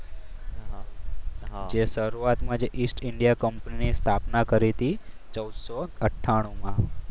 જે શરૂઆતમાં જઈ ઈસ્ટ ઈન્ડિયા કંપનીની સ્થાપના કરી હતી ચૌડસો આથાણુ માં